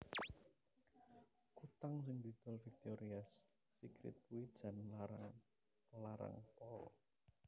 Kutang sing didol Victoria's Secret kuwi jan larang larang pol